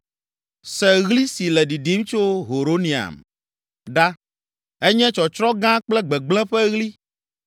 Se ɣli si le ɖiɖim tso Horonaim ɖa, enye tsɔtsrɔ̃ gã kple gbegblẽ ƒe ɣli.